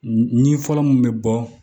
Ni fɔlɔ mun bɛ bɔ